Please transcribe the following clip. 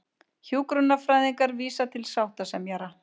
Hjúkrunarfræðingar vísa til sáttasemjara